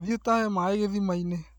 Thiĩ ũtahe maĩ gĩthimainĩ